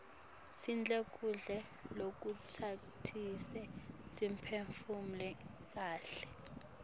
sidle kudla lokutasisita siphefumule kaihle